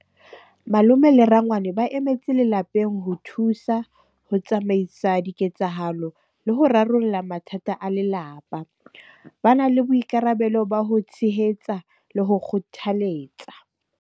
Malome le rangwane ba emetse lelapeng ho thusa ho tsamaisa diketsahalo le ho rarolla mathata a lelapa. Bana le boikarabelo ba ho tshehetsa le ho kgothaletsa.